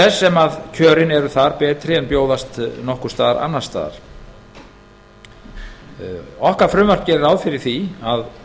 þess sem kjörin eru þar betri en bjóðast nokkurs staðar annars staðar okkar frumvarp gerir ráð fyrir því að